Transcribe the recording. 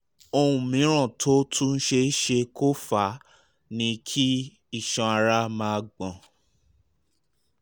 ohun mìíràn tó tún ṣe é ṣe kó fà á ni kí iṣan ara máa gbọ̀n